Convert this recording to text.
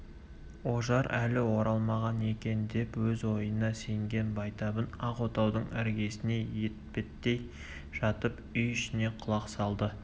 ожар әлі оралмаған екен деп өз ойына сенген байтабын ақ отаудың іргесіне етпеттей жатып үй ішіне құлақ салды